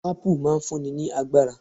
Apple' máa n fún ni ní agbára